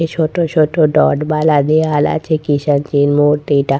এই ছোট ছোট ডট বালা দিয়াল আছে কিসেন জির মূর্তিটা।